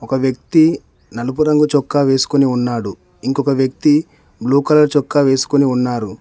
ఒక వ్యక్తి నలుపు రంగు చొక్కా వేసుకుని ఉన్నాడు ఇంకొక వ్యక్తి బ్లూ కలర్ చొక్కా వేసుకొని ఉన్నారు.